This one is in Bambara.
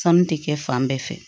Sanu tɛ kɛ fan bɛɛ fɛ